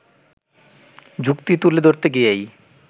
যুক্তি তুলে ধরতে গিয়েই